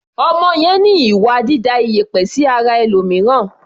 Ọmọ yẹn ní ìwà dída ìyẹ̀pẹ̀ sí ara ẹlòmìíràn.